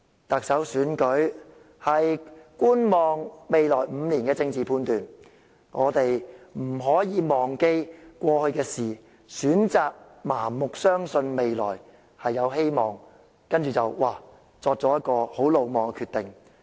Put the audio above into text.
特首選舉是觀望未來5年的政治判斷，我們不可以忘記過去的事，選擇盲目相信未來有希望，然後作出很魯莽的決定。